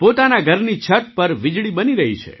પોતાના ઘરની છત પર વીજળી બની રહી છે